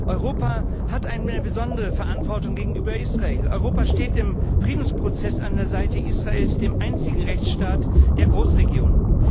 Europa hat eine besondere Verantwortung gegenüber Israel. Europa steht im Friedensprozess an der Seite Israels, dem einzigen Rechtsstaat der Großregion.